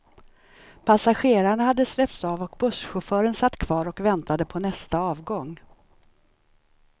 Passagerarna hade släppts av och busschauffören satt kvar och väntade på nästa avgång.